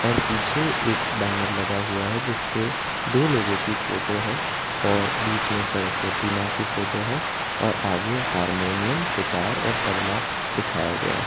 और पीछे एक बैनर लगा हुआ है जिस पे दो लोगों की फोटो है और बीच में सरस्वती मां की फोटो है और आगे हारमोनियम सितार और तबला दिखाया गया है।